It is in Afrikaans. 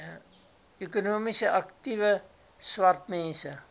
ekonomies aktiewe swartmense